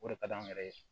O de ka di anw yɛrɛ ye